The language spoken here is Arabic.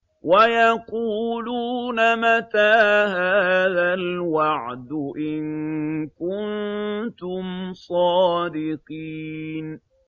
وَيَقُولُونَ مَتَىٰ هَٰذَا الْوَعْدُ إِن كُنتُمْ صَادِقِينَ